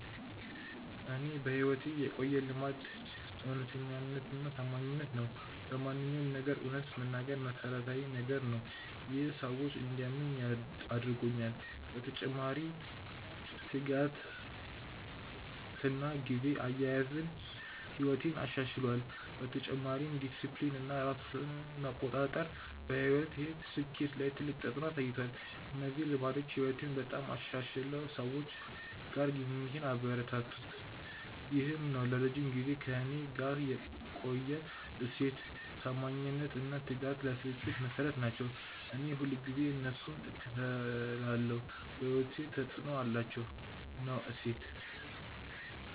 ለእኔ በሕይወቴ የቆየ ልማድ እውነተኛነትና ታማኝነት ነው። በማንኛውም ነገር እውነት መናገር መሠረታዊ ነገር ነው። ይህ ሰዎች እንዲያምኑኝ አድርጎኛል። በተጨማሪ ትጋትና ጊዜ አያያዝ ሕይወቴን አሻሽሏል። በተጨማሪም ዲሲፕሊን እና ራስ መቆጣጠር በሕይወቴ ስኬት ላይ ትልቅ ተፅዕኖ አሳይቷል። እነዚህ ልማዶች ሕይወቴን በጣም አሻሽለው ሰዎች ጋር ግንኙነቴን አበረታቱ። ይህ ነው ለረጅም ጊዜ ከእኔ ጋር የቆየ እሴት። ታማኝነት እና ትጋት ለስኬት መሠረት ናቸው። እኔ ሁልጊዜ እነሱን እከተላለሁ። በሕይወቴ ተፅዕኖ አላቸው።። ነው እሴት።